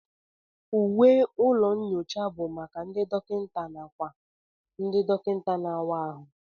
Uwe ụlọ nyocha bụ maka ndị dọkịta nàkwà ndị dọkịta na-àwá áhụ